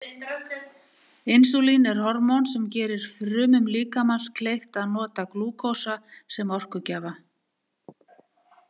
Insúlín er hormón sem gerir frumum líkamans kleift að nota glúkósa sem orkugjafa.